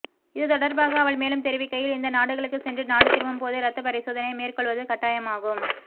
இதுதொடர்பாக அவர் மேலும் தெரிவிக்கையில் இந்த நாடுகளுக்குச் சென்று நாடு திரும்பும்போது இரத்தப் பரிசோனையை மேற்கொள்வது கட்டாயமாகும்